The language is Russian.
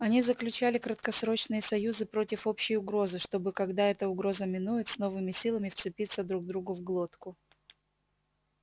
они заключали краткосрочные союзы против общей угрозы чтобы когда эта угроза минует с новыми силами вцепиться друг другу в глотку